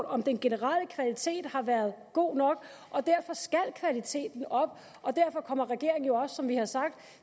om den generelle kvalitet har været god nok derfor skal kvaliteten op og derfor kommer regeringen jo også som vi har sagt